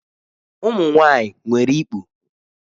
Ụmụ nwanyị nwere ikpu.